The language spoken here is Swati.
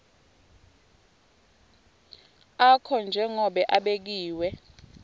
akho njengobe abekiwe